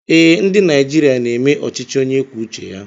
Ee, ndị Naịjirịa na-eme ọchịchị onye kwuo uche ya.